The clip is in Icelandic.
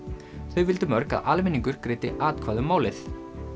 þau vildu mörg að almenningur greiddi atkvæði um málið